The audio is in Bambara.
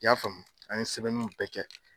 I y'a faamu an ye sɛbɛnniw bɛɛ kɛ